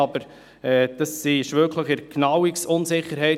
Aber das liegt innerhalb der Fehlerbandbreite.